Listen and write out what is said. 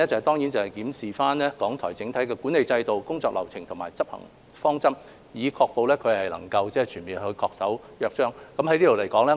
第三，檢視港台的整體管理制度、工作流程和執行方式，確保港台全面恪守《香港電台約章》。